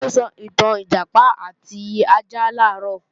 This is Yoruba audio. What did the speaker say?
Taló sọ ìtàn Ìjàpá àti ajá làárọ̀?